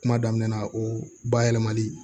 Kuma daminɛ na o bayɛlɛmali